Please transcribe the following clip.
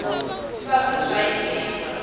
sa zwe zwa tiwa nga